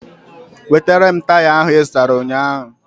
Wetara m taya ahụ I zụtara ụnyaahụ